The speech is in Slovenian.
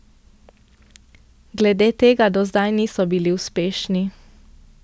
Glede tega do zdaj niso bili uspešni.